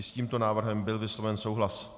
I s tímto návrhem byl vysloven souhlas.